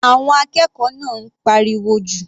Àwọn akẹ́kọ̀ọ́ náà ń pariwo jù.